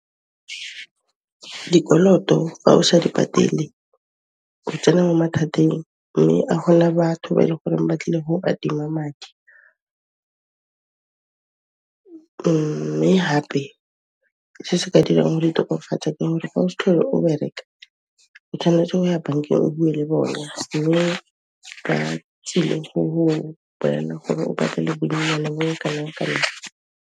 Dikoloto fa o sa di patele, o tsena mo mathateng mme a gona batho ba e le goreng ba tlile go adima madi mme hape, se se ka dirang hore o itokafatse ke gore ga o se tlhole o bereka, o tshwanetse go ya bankeng o bue le bone, bone ba tsile go go bolella gore o patele bonnyane bo bo kanang kanang.